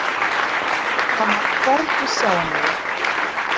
Hann var hvergi sjáanlegur.